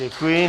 Děkuji.